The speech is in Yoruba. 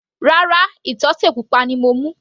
Rárá, ìtọ́tè pupa ni mo mú.